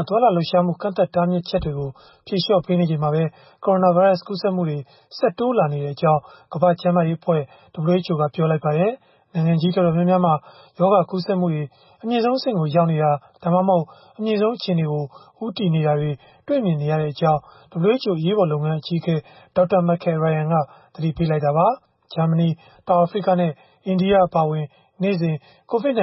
ာ သွားလာလှုပ်ရှားမှု ကန့်သတ်တားမြစ်ချက်တွေကို ဖြေလျှော့ပေးနေချိန်မှာပဲ ကိုရိုနာဗိုင်းရပ်စ် ကူးစက်မှုတွေ ဆက်တိုးလာနေကြောင်း ကမ္ဘာ့ကျန်းမာရေးအဖွဲ့ (WHO) ကပြောပါတယ်။ နိုင်ငံကြီးတော်တော်များများမှာ ရောဂါကူးစက်မှုတွေ အမြင့်ဆုံးအဆင့်ကို ရောက်နေတာ၊ ဒါမှမဟုတ် အမြင့်ဆုံးအခြေအနေကို ဦးတည်နေတာတွေ တွေ့မြင်နေရကြောင်း WHO အရေးပေါ်လုပ်ငန်း အကြီးအကဲ Dr. Michael Ryan က သတိပေးခဲ့တာပါ။ ဂျာမနီ၊ တောင်အာဖရိကနဲ့ အိန္ဒိယ အပါအဝင် နေ့စဉ် COVID-19